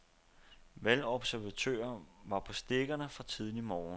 Valgobservatører var på stikkerne fra tidlig morgen.